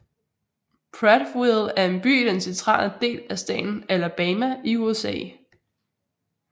Prattville er en by i den centrale del af staten Alabama i USA